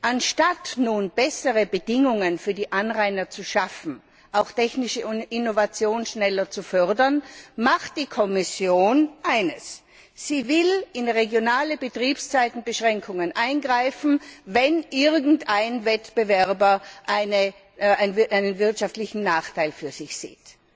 Anstatt nun bessere Bedingungen für die Anrainer zu schaffen auch technische Innovation schneller zu fördern macht die Kommission eines Sie will in regionale Betriebszeitenbeschränkungen eingreifen, wenn irgendein Wettbewerber einen wirtschaftlichen Nachteil für sich sieht.